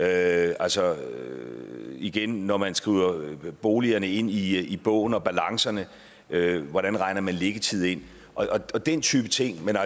altså igen når man skriver boligerne ind i i bogen og balancerne hvordan regner man liggetiden og den type ting ind